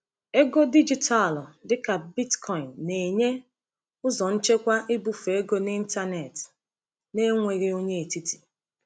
Ego dijitalụ dịka Bitcoin na-enye ụzọ nchekwa ibufe ego n’ịntanetị n’enweghị onye etiti.